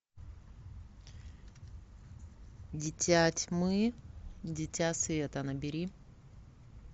дитя тьмы дитя света набери